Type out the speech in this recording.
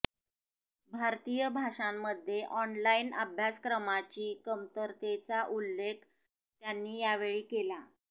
भारतीय भाषांमध्ये ऑनलाइन अभ्यासक्रमाची कमतरतेचा उल्लेख त्यांनी यावेळी केला